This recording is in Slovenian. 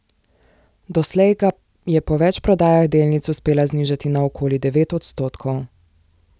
Doslej ga je po več prodajah delnic uspela znižati na okoli devet odstotkov.